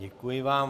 Děkuji vám.